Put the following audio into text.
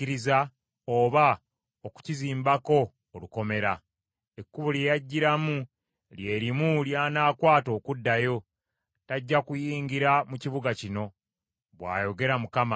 Ekkubo lye yajjiramu lye limu ly’anaakwata okuddayo. Tajja kuyingira mu kibuga kino,” bw’ayogera Mukama .